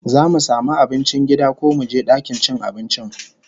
Zamu samu abincin gida ko muje dakin cin abincin?